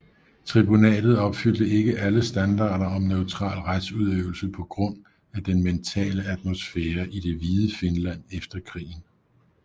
Tribunatet opfyldte ikke alle standarder om neutral retsudøvelse på grund af den mentale atmosfære i det hvide Finland efter krigen